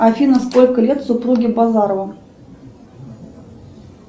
афина сколько лет супруге базарова